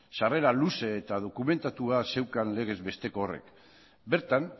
sarrera luze eta dokumentatua zeukan legezbesteko horrek bertan